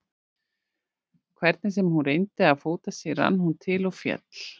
Hvernig sem hún reyndi að fóta sig, rann hún til og féll.